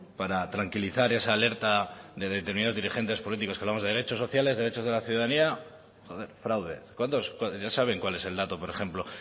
para tranquilizar esa alerta de determinados dirigentes políticos que hablamos de derechos sociales de derechos de la ciudadanía fraude ya saben cuál es el dato por ejemplo